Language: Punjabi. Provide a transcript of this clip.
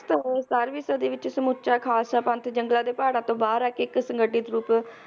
ਤੇ ਬਾਰ੍ਹਵੀਂ ਸਦੀ ਵਿਚ ਸਮੁਚਾ ਖਾਲਸਾ ਪੰਥ ਜੰਗਲਾਂ ਦੇ ਪਹਾੜਾਂ ਤੋਂ ਬਾਹਰ ਆ ਕੇ ਇੱਕ ਸੰਗਠਿਤ ਰੂਪ